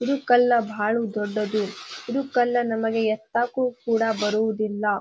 ಇದು ಕಲ್ಲು ಭಾಳ ದೊಡ್ಡದ್ದು. ಇದು ಕಲ್ಲು ನಮಗೆ ಏತಕ್ಕೂ ಕೂಡಾ ಬರುವುದಿಲ್ಲ.